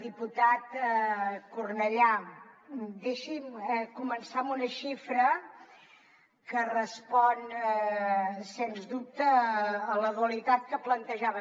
diputat cornellà deixi’m començar amb una xifra que respon sens dubte a la dualitat que plantejava